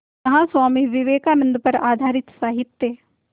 यहाँ स्वामी विवेकानंद पर आधारित साहित्य